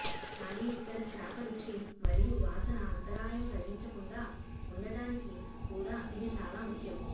కానీ ఇక్కడ చేప రుచి మరియు వాసన అంతరాయం కలిగించకుండా ఉండటానికి కూడా ఇది చాలా ముఖ్యం